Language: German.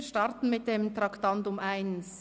Wir starten mit dem Traktandum 1.